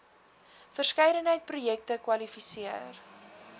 verskeidenheid projekte kwalifiseer